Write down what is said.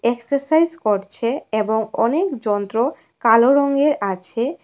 Exercise করছে এবং অনেক যন্ত্র কালো রঙের আছে।